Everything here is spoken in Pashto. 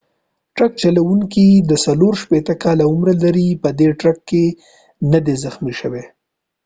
د ټرک چلوونکي چې 64 کاله عمر لري په دې ټکر کې ندی زخمی شوی